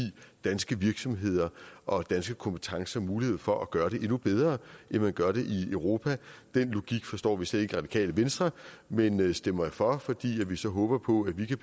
danske virksomheder og danske kompetencer mulighed for at gøre det endnu bedre end man gør det i europa den logik forstår vi slet ikke i radikale venstre men stemmer for fordi vi så håber på at vi kan